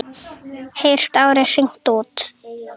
Heyrt árið hringt út.